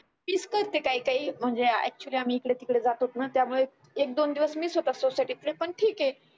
तीच करते काही काही म्हणजे ऐक्चुली आम्ही इकडे तिकडे जात होतो णा त्या मूळे एक दोन दिवस मी स्वता तिकडे पण ठीक आहे